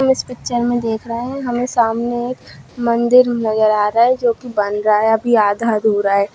इस पिक्चर में देख रहे है हमें सामने एक मंदिर नजर आ रहा है जो कि बन रहा है अभी आधा-अधूरा है।